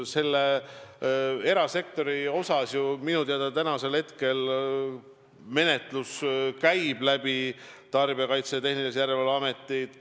Selle erasektori osas minu teada tänasel hetkel käib menetlus Tarbijakaitse ja Tehnilise Järelevalve Ametis.